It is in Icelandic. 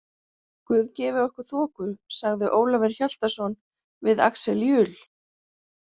Guð gefi okkur þoku, sagði Ólafur Hjaltason við Axel Jul.